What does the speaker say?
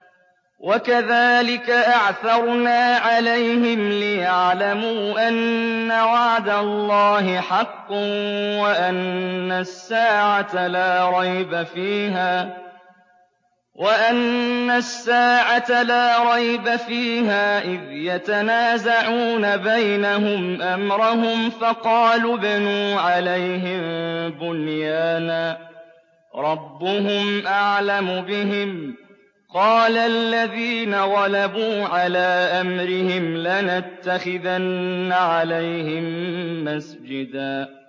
وَكَذَٰلِكَ أَعْثَرْنَا عَلَيْهِمْ لِيَعْلَمُوا أَنَّ وَعْدَ اللَّهِ حَقٌّ وَأَنَّ السَّاعَةَ لَا رَيْبَ فِيهَا إِذْ يَتَنَازَعُونَ بَيْنَهُمْ أَمْرَهُمْ ۖ فَقَالُوا ابْنُوا عَلَيْهِم بُنْيَانًا ۖ رَّبُّهُمْ أَعْلَمُ بِهِمْ ۚ قَالَ الَّذِينَ غَلَبُوا عَلَىٰ أَمْرِهِمْ لَنَتَّخِذَنَّ عَلَيْهِم مَّسْجِدًا